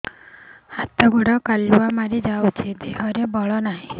ହାତ ଗୋଡ଼ କାଲୁଆ ମାରି ଯାଉଛି ଦେହରେ ବଳ ନାହିଁ